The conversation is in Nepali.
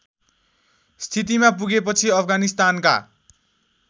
स्थितिमा पुगेपछि अफगानिस्तानका